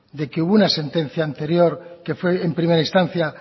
de que hubo una sentencia anterior que fue en primera instancia